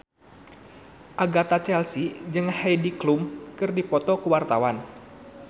Agatha Chelsea jeung Heidi Klum keur dipoto ku wartawan